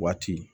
Waati